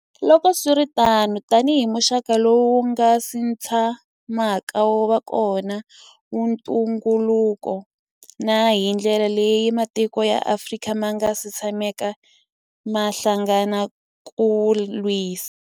Loko swi ri tano, tanihi muxaka lowu wu nga si tsha maka wu va kona wa ntu ngukulu, na hi ndlela leyi matiko ya Afrika ma nga si tshamaka ma hlangana ku wu lwisa.